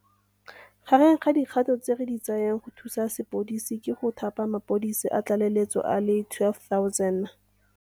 Gareng ga dikgato tse re di tsayang go thusa sepodisi ke go thapa mapodisi a tlaleletso a le 12 000.